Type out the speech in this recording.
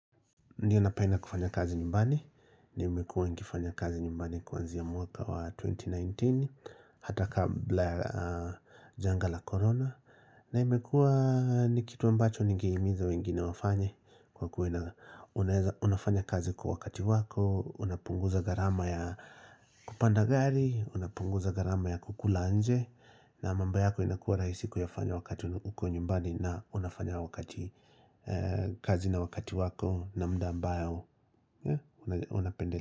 Ndiyo napenda kufanya kazi nyumbani, nimekua nikifanya kazi nyumbani kuanzia mwaka wa 2019, hata kabla janga la corona. Na imekua nikitu ambacho nigehimiza wengine wafanye kwa kuwa ina unafanya kazi kwa wakati wako, unapunguza gharama ya kupanda gari, unapunguza gharama ya kukula nje. Na mambo yako inakua rahisi kuyafanya wakati uko nyumbani na unafanya wakati kazi na wakati wako na muda ambayo unapende.